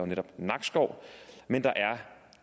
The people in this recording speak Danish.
netop nakskov men der er